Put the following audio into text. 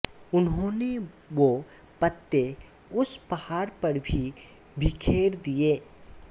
उन्होंने वो पत्ते उस पहाड़ पर भी बिखेर दिए